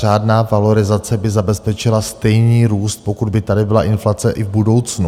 Řádná valorizace by zabezpečila stejný růst, pokud by tady byla inflace i v budoucnu.